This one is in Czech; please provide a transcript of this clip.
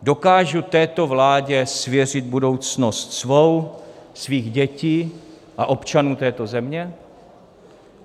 Dokážu této vládě svěřit budoucnost svou, svých dětí a občanů této země?